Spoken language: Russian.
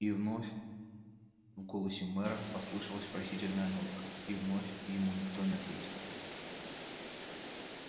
и вновь в голосе мэра послышалась просительная нотка и вновь ему никто не ответил